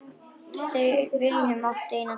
Þau Vilhelm áttu eina dóttur.